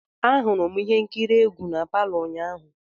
Ahụrụ m ihe nkiri egwu na palo ụnyaahụ.